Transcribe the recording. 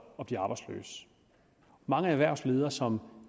mange erhvervsledere som